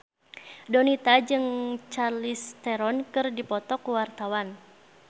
Donita jeung Charlize Theron keur dipoto ku wartawan